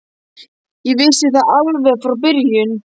Ég vissi það alveg frá byrjun.